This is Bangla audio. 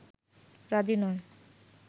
রাজি নয়